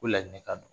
Ko ladilikan don